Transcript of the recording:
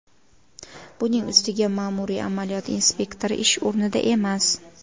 Buning ustiga ma’muriy amaliyot inspektori ish o‘rnida emas.